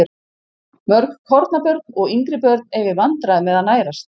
Mörg kornabörn og yngri börn eiga í vandræðum með að nærast.